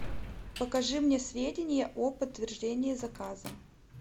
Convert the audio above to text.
покажи мне сведения о подтверждении заказа